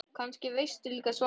Kannski veistu líka svarið.